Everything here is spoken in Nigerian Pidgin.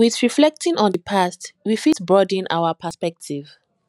with reflecting on di past we fit broaden our perspective